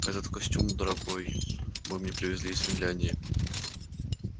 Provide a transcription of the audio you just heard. этот костюм дорогой вы мне привезли из финляндии